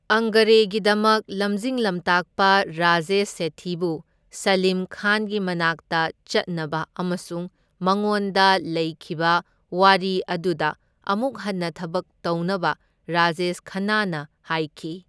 ꯑꯪꯒꯥꯔꯦꯒꯤꯗꯃꯛ, ꯂꯝꯖꯤꯡ ꯂꯝꯇꯥꯛꯄ ꯔꯥꯖꯦꯁ ꯁꯦꯊꯤꯕꯨ ꯁꯂꯤꯝ ꯈꯥꯟꯒꯤ ꯃꯅꯥꯛꯇ ꯆꯠꯅꯕ ꯑꯃꯁꯨꯡ ꯃꯉꯣꯟꯗ ꯂꯩꯈꯤꯕ ꯋꯥꯔꯤ ꯑꯗꯨꯗ ꯑꯃꯨꯛ ꯍꯟꯅ ꯊꯕꯛ ꯇꯧꯅꯕ ꯔꯥꯖꯦꯁ ꯈꯟꯅꯥꯅ ꯍꯥꯏꯈꯤ꯫